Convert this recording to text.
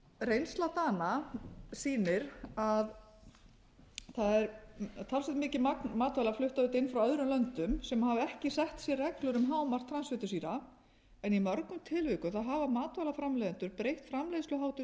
reynsla dana sýnir að það er talsvert mikið magn matvæla flutt auðvitað inn frá öðrum löndum sem hafa ekki sett sér reglur um hámark transfitusýra en í mörgum tilvikum hafa matvælaframleiðendur breytt framleiðsluháttum sínum til